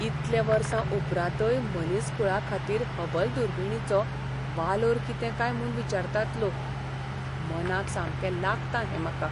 इतले वर्सां उपरांतय मनीसकूळाखातीर हबल दुर्बिणीचो वालोर कितें काय म्हूण विचारतात लोक. मनाक सामकें लागता हें म्हाका.